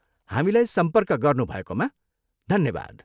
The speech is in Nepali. हामीलाई सम्पर्क गर्नुभएकोमा धन्यवाद।